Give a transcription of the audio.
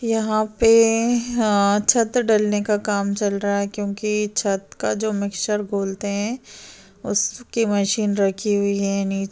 यहा पे हं छत डलने काम चल रहा क्यूंकि छत का जो मिक्ष्चर बोलते है उसकी मशीन रखी हुईं है नीचे--